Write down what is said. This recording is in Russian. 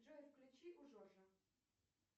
джой включи у жоржа